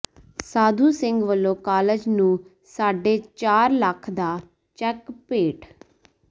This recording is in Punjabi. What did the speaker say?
ਸਾਧੂ ਸਿੰਘ ਵੱਲੋਂ ਕਾਲਜ ਨੂੰ ਸਾਢੇ ਚਾਰ ਲੱਖ ਦਾ ਚੈੱਕ ਭੇਟ